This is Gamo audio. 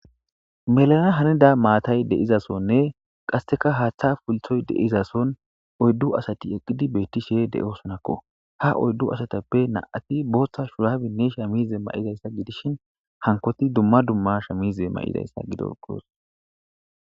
Melana hanida maatay deizasonne qasseka haaththa pulthoy deizason oyddu asati eqqidi beetti she de'oosonakko ha oyddu asatappe na'ati booththa shurabinne sha mize ma'idayssa gidishin hankoti dumma dumma sha mize ma'idayssa gidor qoos.